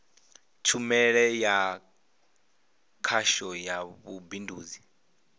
tshumelo ya khasho ya vhubindudzi